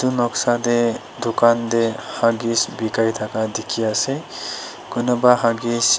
etu noksa de dukan de huggies bikai daka diki ase kunuba huggies .